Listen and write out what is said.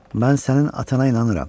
Mən sənin atana inanıram.